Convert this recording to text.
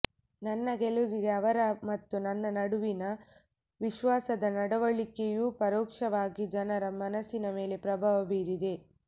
ನನ್ನ ಗೆಲವಿಗೆ ಅವರ ಮತ್ತು ನನ್ನ ನಡುವಿನ ವಿಶ್ವಾಸದ ನಡವಳಿಕೆಯೂ ಪರೋಕ್ಷವಾಗಿ ಜನರ ಮನಸಿನ ಮೇಲೆ ಪ್ರಭಾವ ಬೀರಿದೆ